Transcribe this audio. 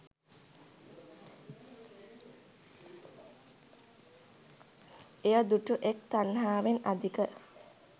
එය දුටු එක් තණ්හාවෙන් අධික